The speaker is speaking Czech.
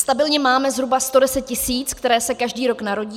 Stabilně máme zhruba 110 tisíc , které se každý rok narodí.